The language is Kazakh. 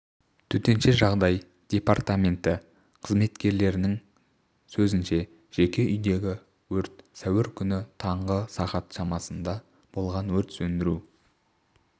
төтенше жағдай департаменті қызметкерлерінің сөзінше жеке үйдегі өрт сәуір күні таңғы сағат шамасында болған өрт сөндіру